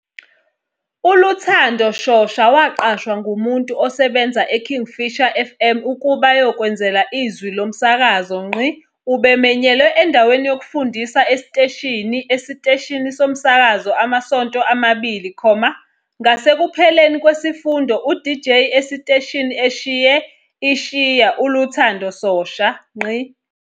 ULuthando Shosha waqashwa ngumuntu osebenza eKingfisher FM ukuba ayokwenzela izwi lo msakazo. Ubemenyelwe endaweni yokufundisa esiteshini esiteshini somsakazo amasonto amabili, ngasekupheleni kwesifundo uDJ esiteshini eshiye ishiya uLuthando Shosha.